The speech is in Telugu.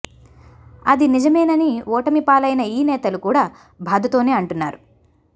అది నిజమేనని ఓటమి పాలైన ఈ నేతలు కూడా బాధతోనే అంటున్నారు